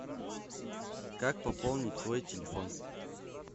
как пополнить свой телефон